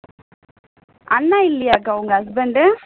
அண்ணா இல்லையா அக்கா உங்க husband